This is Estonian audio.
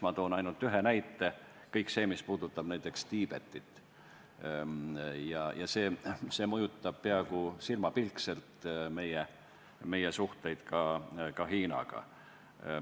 Ma toon ainult ühe näite: kõik väljaütlemised, mis puudutavad Tiibetit, mõjutavad peaaegu silmapilk ka meie suhteid Hiinaga.